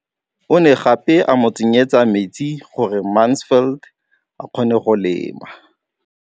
O ne gape a mo tsenyetsa metsi gore Mansfield a kgone go lema.